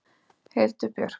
Hildur Björk.